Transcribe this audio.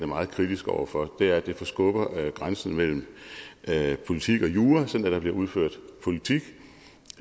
meget kritisk over for er at det forskubber grænsen mellem politik og jura sådan at der bliver udført politik